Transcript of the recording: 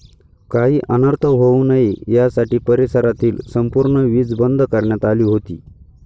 काही अनर्थ होऊ नये यासाठी परिसरातील संपूर्ण वीज बंद करण्यात आली होती.